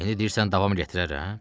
İndi deyirsən davam gətirərəm?